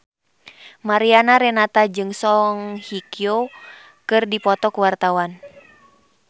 Mariana Renata jeung Song Hye Kyo keur dipoto ku wartawan